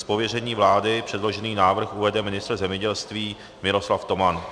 Z pověření vlády předložený návrh uvede ministr zemědělství Miroslav Toman.